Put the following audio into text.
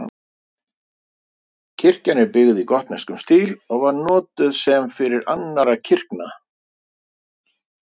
kirkjan er byggð í gotneskum stíl og var notuð sem fyrir annarra kirkna